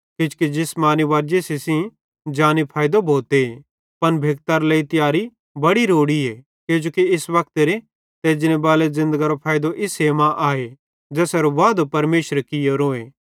किजोकि जिसमानी वर्जिशी सेइं जानी फैइदो भोते पन भेक्तरे लेइ तियारी बड़ी रोड़ीए किजोकि इस वक्तेरी ते एजनेबाले वक्तेरी ज़िन्दगरो फैइदो इस्से मां आए ज़ेसेरो वादो परमेशरे कियोरोए